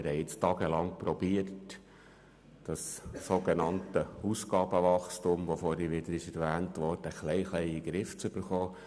Wir haben jetzt tagelang versucht, das sogenannte Ausgabenwachstum, das vorhin wieder erwähnt worden ist, ein bisschen in den Griff zu bekommen.